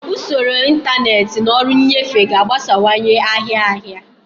Usoro ntanetị na ọrụ nnyefe ga-agbasawanye ahịa ahịa.